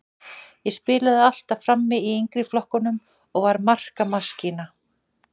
Ég spilaði alltaf frammi í yngri flokkunum og var markamaskína.